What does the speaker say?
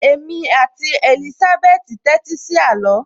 Èmi àti Èlísábẹ́tì tẹ́tí sí àló